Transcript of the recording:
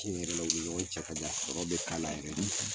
Tiɲɛ yɛrɛ la, je ni ɲɔgɔn cɛ ka kan, sɔrɔ bɛ k'ala yɛrɛ de.